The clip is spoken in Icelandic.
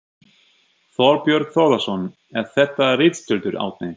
Þorbjörn Þórðarson: Er þetta ritstuldur, Árni?